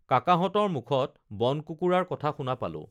কাকাহতঁৰ মুখত বনকুকুৰাৰ কথা শুনা পালোঁ